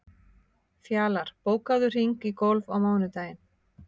Fjalar, bókaðu hring í golf á mánudaginn.